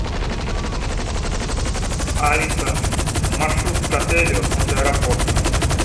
алиса маршрут к отелю от аэропорта